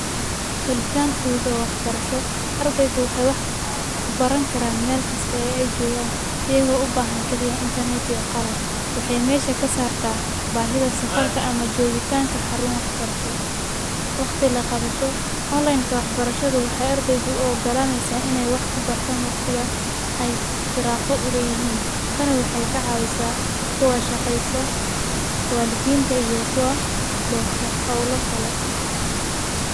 Helitan fudud oo wax barasho ardey waxay wax kubaran karaan mel kasta ay jogan iyago u bahan kaliya intarnetka iyo qalab. Waxay mesha kasartah bahida safarka ama jogitanka xarun wax barasho, waqti laqabasho. Onlaynka wax barashadu waxaay ardeyda u ogolaneysaah in ay wax kubartan waqtiga ay firaqo u leyihin, tani waxay kacawisaah kuwa shaqeystah , walidinta iyo kuwa leh howla kale.